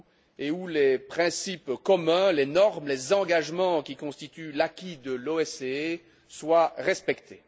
et où les principes communs, les normes, les engagements qui constituent l'acquis de l'OSCE soient respectés.